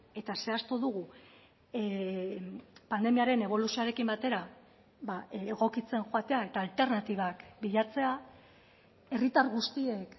eta zehaztu dugu pandemiaren eboluzioarekin batera egokitzen joatea eta alternatibak bilatzea herritar guztiek